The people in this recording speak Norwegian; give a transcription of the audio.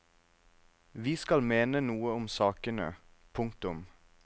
Vi skal mene noe om sakene. punktum